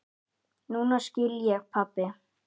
Núna skil ég, pabbi.